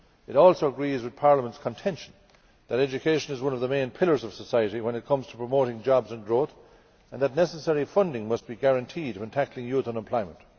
It also agrees with Parliament's contention that education is one of the main pillars of society when it comes to promoting jobs and growth, and that necessary funding must be guaranteed when tackling youth unemployment.